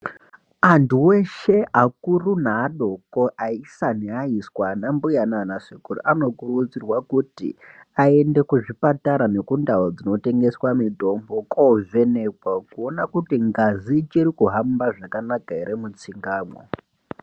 Antu eshe akuru neadoko aisa neaiswa anambuya nanasekuru anokurudzirwa kuti aende kuzvipatara nekundau dzinotengeswe mitombo kovhenekwa kuona kuti ngazi ichiri kuhamba zvakanaka ere mutsingamwo.